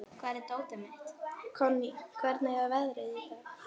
Konný, hvernig er veðrið í dag?